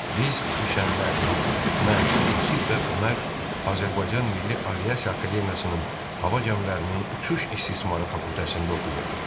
Biz üç əmlər, mən, Yusif və Ömər Azərbaycan Milli Aviasiya Akademiyasının Hava gəmilərinin uçuş istismarı fakültəsində oxuyurduq.